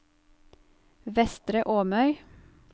Vestre Åmøy